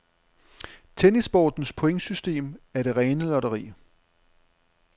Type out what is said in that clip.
Tennissportens pointsystem er det rene lotteri.